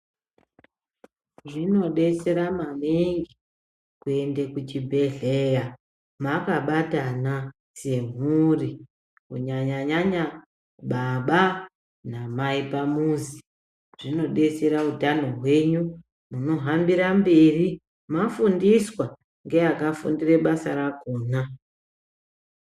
Zvinobetsera maningi kuende kuchibhedhleya makabatana semhuri. Kunyanya-nyanya baba namai pamuzi zvinobetsera utano hwenyu, munohambira mberi mafundiswa ngeakafundira basa rakona